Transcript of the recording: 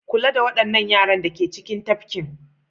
Kula da waɗannan yaran da ke cikin tafkin.